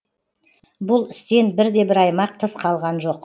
бұл істен бірде бір аймақ тыс қалған жоқ